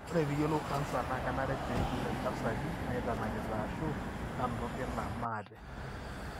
ore piyiolou canser na kenare pejur intasati naitanakita ashu nanuta olkina maate